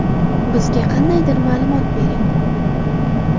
Bizga qandaydir ma’lumot bering!”.